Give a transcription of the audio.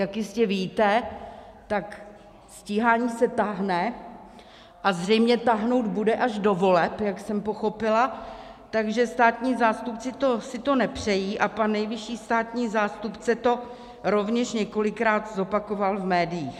Jak jistě víte, tak stíhání se táhne a zřejmě táhnout bude až do voleb, jak jsem pochopila, takže státní zástupci si to nepřejí a pan nejvyšší státní zástupce to rovněž několikrát zopakoval v médiích.